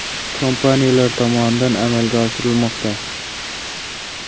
kompaniyalari tomonidan amalga oshirilmoqda.